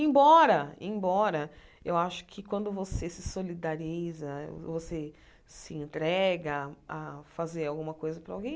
Embora, embora eu acho que quando você se solidariza, você se entrega a fazer alguma coisa para alguém,